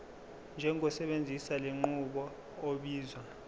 njengosebenzisa lenqubo obizwa